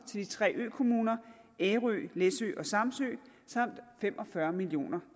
de tre økommuner ærø læsø og samsø samt fem og fyrre million